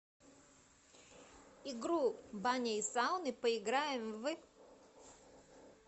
игру бани и сауны поиграем в